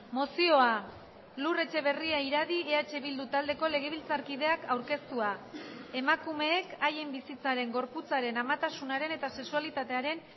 mozioa lur etxeberria iradi eh bildu taldeko legebiltzarkideak aurkeztua emakumeek haien bizitzaren gorputzaren amatasunaren eta sexualitatearen